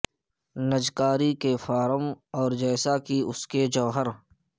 نجکاری کے فارم اور جیسا کہ اس کے جوہر